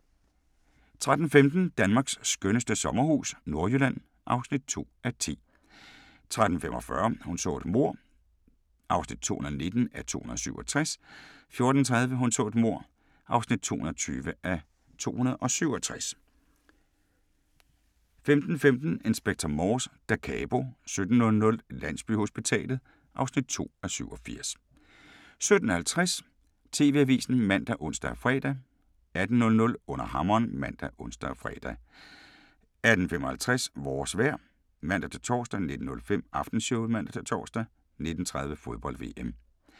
13:15: Danmarks skønneste sommerhus – Nordjylland (2:10) 13:45: Hun så et mord (219:267) 14:30: Hun så et mord (220:267) 15:15: Inspector Morse: Da Capo 17:00: Landsbyhospitalet (2:87) 17:50: TV-avisen ( man, ons, fre) 18:00: Under hammeren ( man, ons, fre) 18:55: Vores vejr (man-tor) 19:05: Aftenshowet (man-tor) 19:30: Fodbold: VM